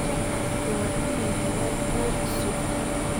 Shacabku waa inay helaan xog sugan.